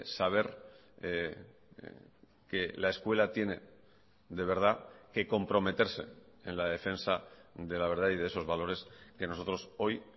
saber que la escuela tiene de verdad que comprometerse en la defensa de la verdad y de esos valores que nosotros hoy